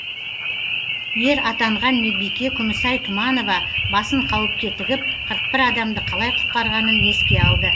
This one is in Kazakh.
ер атанған медбике күмісай тұманова басын қауіпке тігіп қырық бір адамды қалай құтқарғанын еске алды